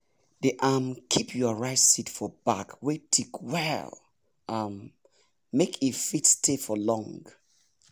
dey um keep your rice seed for bag wey thick well um well make e fit stay for long